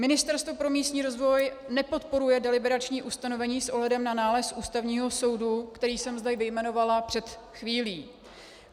Ministerstvo pro místní rozvoj nepodporuje deliberační ustanovení s ohledem na nález Ústavního soudu, který jsem zde vyjmenovala před chvílí.